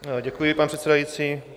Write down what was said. Děkuji, pane předsedající.